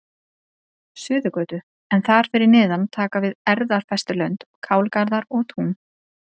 Suðurgötu, en þar fyrir neðan taka við erfðafestulönd, kálgarðar og tún.